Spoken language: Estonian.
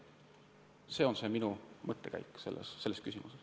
Selline on minu mõttekäik selles küsimuses.